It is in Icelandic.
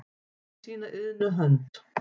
með sína iðnu hönd